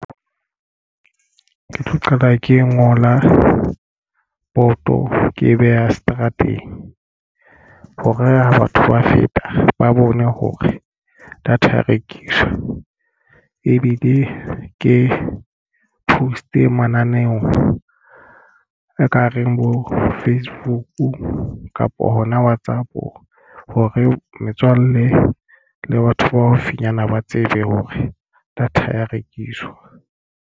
Ke tlo qala ke ngola boto ke e beha seterateng ho re ha batho ba feta ba bone hore data ya rekiswa ebile ke post-e mananeo e ka reng bo Facebook kapa hona WhatsApp hore metswalle le batho ba haufinyana ba tsebe hore data ya rekiswa.